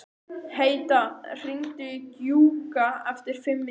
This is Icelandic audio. Heida, hringdu í Gjúka eftir fimm mínútur.